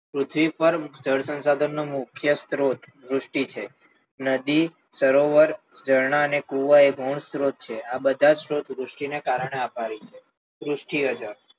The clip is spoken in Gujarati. પૃથ્વી પર જળ સંસાધનના મુખ્ય સ્ત્રોત વૃષ્ટિ છે નદી સરોવર ઝરણા અને કુવા એ ગૌણ સ્ત્રોત છે આ બધા સ્ત્રોતૃષ્ટિના કારણે આભારી છે વૃષ્ટિએ જળ